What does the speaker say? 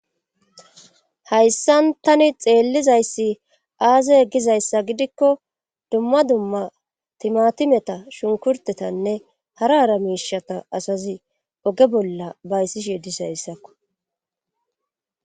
hayssan tani xeellizayssi aaze gizayssa gidikko dumma dumma timatimeta shunkurtetanne hara hara miishata asazi oge bolla bayssishi dizayissakko